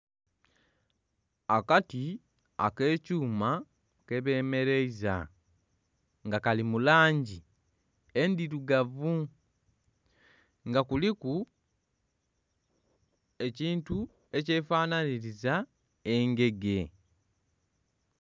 Akati ak'ekyuma kebemereiza nga kali mu langi endhirugavu nga kuliku ekintu ekyefananhiriza engege.